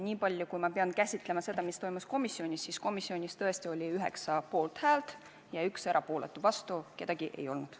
Niipalju, kui ma pean käsitlema seda, mis toimus komisjonis, ütlen, et komisjonis tõesti oli 9 poolthäält ja 1 erapooletu, vastu keegi ei olnud.